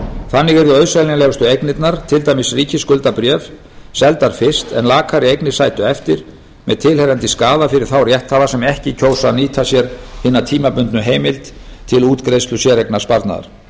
þannig yrðu auðseljanlegustu eignirnar til dæmis ríkisskuldabréf seldar fyrst en lakari eignir sætu eftir með tilheyrandi skaða fyrir þá rétthafa sem ekki kjósa að nýta sér hina tímabundnu heimild til útgreiðslu séreignarsparnaðar